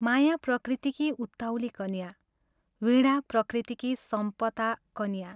माया प्रकृतिकी उत्ताउली कन्या, वीणा प्रकृतिकी संपता कन्या।